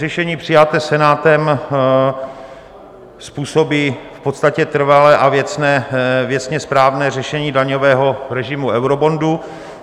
Řešení přijaté Senátem způsobí v podstatě trvalé a věcně správné řešení daňového režimu eurobondu.